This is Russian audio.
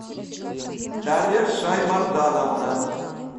дарья шаймордановна